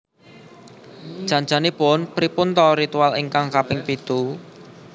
Jan janipun pripun to ritual ingkang kaping pitu